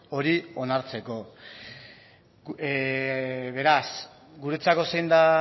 hori onartzeko beraz guretzako zein da